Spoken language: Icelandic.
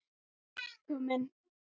Kom inn